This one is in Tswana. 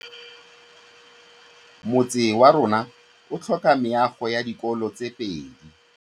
Motse warona o tlhoka meago ya dikolô tse pedi.